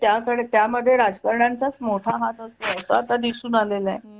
त्या मध्ये राजकारणाच्याच यांचा मोठा हात असतो असं आता दिसून आलेले आहे